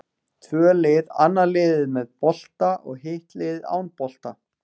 Tvö lið, annað liðið með bolta og hitt liðið án bolta.